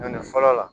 Doni fɔlɔ la